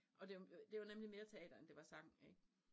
Og dem det var nemlig mere teater end det var sang ik